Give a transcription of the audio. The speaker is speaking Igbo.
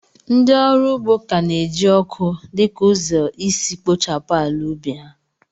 Ndị ọrụ ugbo ka na-eji ọkụ dị ka ụzọ isi kpochapụ ala ubi ha.